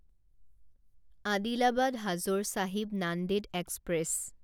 Adilabad Hazur Sahib Nanded express